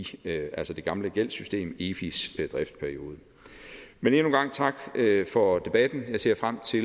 det gamle gældssystem efis driftsperiode men endnu en gang tak for debatten jeg ser frem til